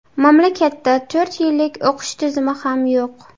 Mamlakatda to‘rt yillik o‘qish tizimi ham yo‘q.